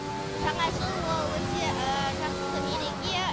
жаңа жыл ол өте жақсы мереке